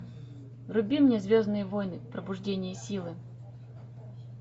вруби мне звездные войны пробуждение силы